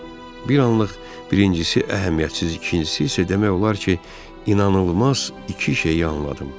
Bir anlıq birincisi əhəmiyyətsiz, ikincisi isə demək olar ki, inanılmaz iki şeyi anladım.